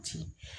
Ci